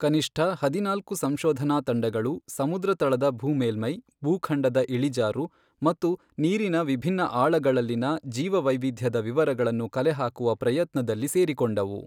ಕನಿಷ್ಠ ಹದಿನಾಲ್ಕು ಸಂಶೋಧನಾ ತಂಡಗಳು ಸಮುದ್ರ ತಳದ ಭೂಮೇಲ್ಮೈ, ಭೂಖಂಡದ ಇಳಿಜಾರು ಮತ್ತು ನೀರಿನ ವಿಭಿನ್ನ ಆಳಗಳಲ್ಲಿನ ಜೀವವೈವಿಧ್ಯದ ವಿವರಗಳನ್ನು ಕಲೆಹಾಕುವ ಪ್ರಯತ್ನದಲ್ಲಿ ಸೇರಿಕೊಂಡವು.